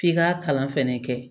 F'i k'a kalan fɛnɛ kɛ